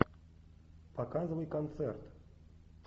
показывай концерт